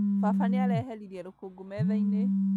Baba nĩareheririe rũkũngũ metha-inĩ